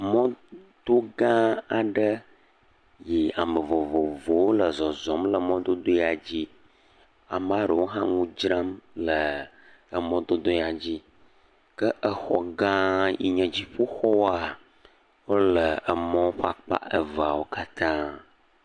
mɔ to gã aɖe yi ame vovovowo le zɔzɔm le mɔdodo ya dzi, ama ɖewo hã ŋu dzram le emɔ dodo ya dzi ke exɔ gã yinye dziƒoxɔa wóle emɔ ƒe akpa eveawo katã